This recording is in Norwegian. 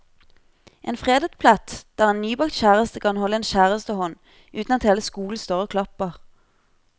En fredet plett der en nybakt kjæreste kan holde en kjærestehånd uten at hele skolen står og klapper.